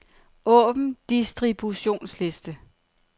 Åbn distributionsliste.